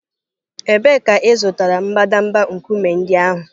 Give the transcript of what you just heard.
Ebee ka ị zụtara mbadamba nkume ndị ahụ?